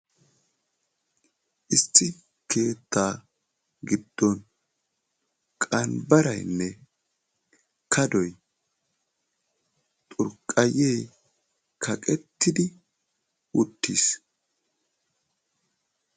Issi keettaa giddon qambbaraynne kaddoy xurqqayye kaqqetidi uttiis.